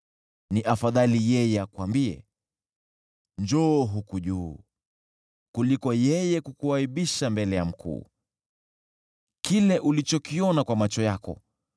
ni afadhali yeye akuambie, “Njoo huku juu,” kuliko yeye kukuaibisha mbele ya mkuu. Kile ulichokiona kwa macho yako